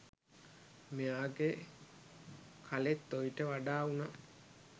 මෙයාගේ කලෙත් ඔයිට වඩා උණා.